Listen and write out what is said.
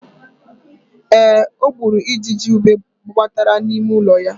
Ee, o gburu ijiji ube gbabatara n'ime ụlọ ya.